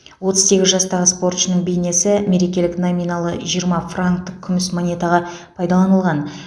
отыз сегіз жастағы спортшының бейнесі мерекелік номиналы жиырма франктік күміс монетаға пайдаланылған